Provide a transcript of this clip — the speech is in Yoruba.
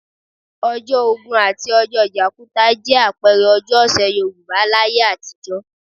Ọjọ́ Ògún àti ọjọ́ Jàkúta jẹ́ àpẹẹrẹ ọjọ́ ọ̀sẹ̀ Yorùbá láyé àtijọ́